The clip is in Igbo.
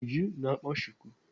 Ujunwa na-akpa chuku.